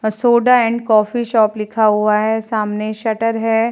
A soda and coffee shop लिखा हुआ है। सामने शटर है।